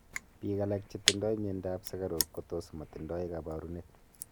piik alak chetindoi mianda ap sugaruk kotus matindai kaparunet